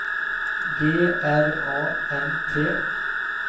G R A N T